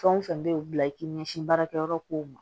Fɛn o fɛn bɛ yen o bila i k'i ɲɛsin baarakɛyɔrɔ kow ma